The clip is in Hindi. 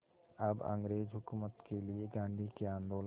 अब अंग्रेज़ हुकूमत के लिए गांधी के आंदोलन